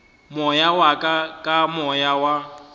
moya wa ka moya wa